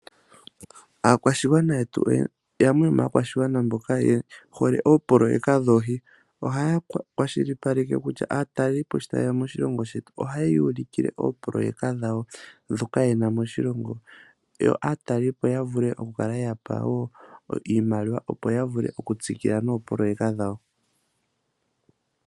Aakwashigwana yetu, yamwe yomaakwashigwana mboka ye hole oopololeka dhoohi ohaya kwashilipaleke kutya aatalelipo sho tayeya moshilongo shetu ohayeya ulikile oopololeka dhawo ndhoka yena moshilongo, yo aatalelipo ya vule okukala yeya pa iimaliwa opo ya vule oku tsikila noopololeka dhawo.